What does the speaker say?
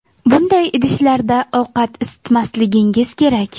Bunday idishlarda ovqat isitmasligingiz kerak.